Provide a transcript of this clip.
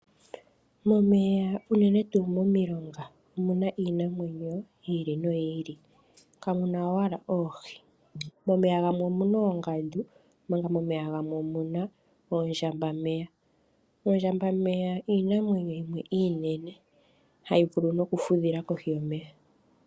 Momeya unene tuu momilonga omuna iinamwenyo yi ili noyi ili, kamuna owala oohi. Momeya gamwe omuna oongandu omanga momeya gamwe omuna oondjambameya. Oondjambameya iinamwenyo yimwe iinene hayi vulu nokufudhila kohi yomeya.